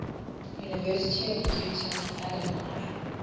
university of utah alumni